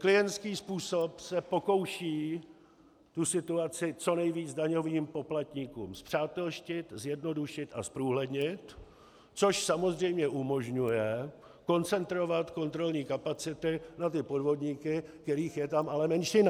Klientský způsob se pokouší tu situaci co nejvíce daňovým poplatníkům spřátelštit, zjednodušit a zprůhlednit, což samozřejmě umožňuje koncentrovat kontrolní kapacity na ty podvodníky, kterých je tam ale menšina.